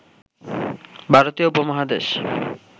ভারতীয় উপমহাদেশ